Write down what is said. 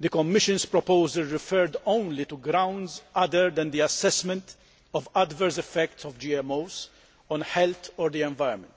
the Commission's proposal referred only to grounds other than the assessment of adverse effects of GMOs on health or the environment.